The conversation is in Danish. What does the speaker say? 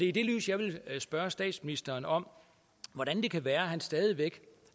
i det lys jeg vil spørge statsministeren om hvordan det kan være han stadig væk